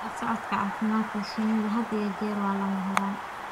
La socodka caafimaadka shinni had iyo jeer waa lama huraan.